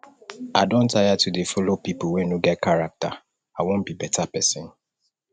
i don tire to dey follow pipu wey no get character i wan be beta pesin